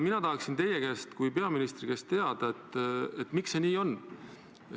Mina tahaksin teie kui peaministri käest teada, miks see nii on.